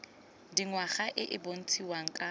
dingwaga e e bontshiwang ka